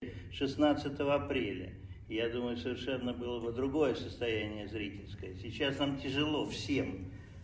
шестнадцатое апреля я думаю совершенно было бы другое состояние зрительской сейчас там тяжело всем